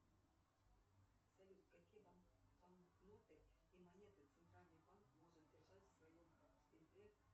салют какие банкноты и монеты центральный банк может держать в своем